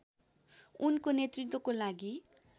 उनको नेतृत्वको लागि